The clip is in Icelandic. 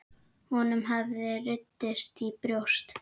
Honum hafði runnið í brjóst.